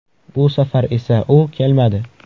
Bu safar esa u kelmadi.